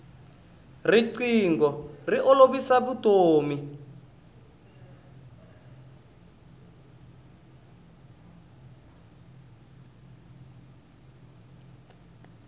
rinqingho ri olovisa vutomi